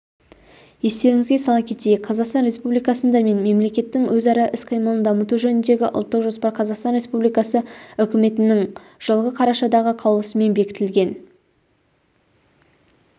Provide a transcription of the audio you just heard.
естеріңізге сала кетейік қазақстан республикасында мен мемлекеттің өзара іс-қимылын дамыту жөніндегі ұлттық жоспар қазақстан республикасы үкіметінің жылғы қарашадағы қаулысымен бекітілген